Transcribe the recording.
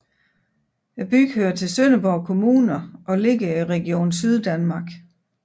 Byen hører til Sønderborg Kommune og ligger i Region Syddanmark